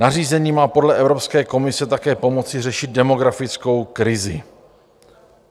Nařízení má podle Evropské komise také pomoci řešit demografickou krizi.